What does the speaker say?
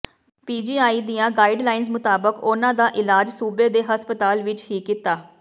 PGI ਦੀਆਂ guidelines ਮੁਤਾਬਕ ਉਨ੍ਹਾਂ ਦਾ ਇਲਾਜ ਸੂਬੇ ਦੇ ਹਸਪਤਾਲ ਵਿਚ ਹੀ ਕੀਤਾ